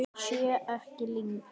Sé ekki lengur.